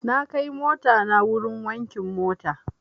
Na kai motana wurin wankin mota.